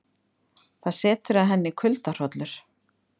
Það setur að henni kuldahroll.